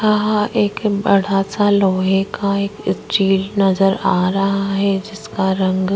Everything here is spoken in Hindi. यहाँ एक बड़ा सा लोहे का एक स्टील नज़र आ रहा हैं जिसका रंग--